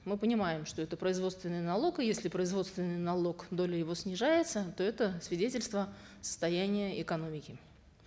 мы понимаем что это производственный налог и если производственный налог доля его снижается то это свидетельство состояния экономики